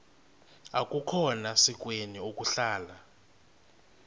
akukhona sikweni ukuhlala